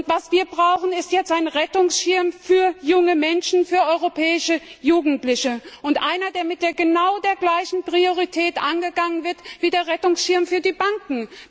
Was wir brauchen, ist jetzt ein Rettungsschirm für junge Menschen, für europäische Jugendliche, der mit genau der gleichen Priorität angegangen wird wie der Rettungsschirm für die Banken.